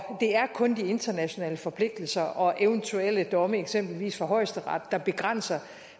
og det er kun de internationale forpligtelser og eventuelle domme eksempelvis fra højesteret der begrænser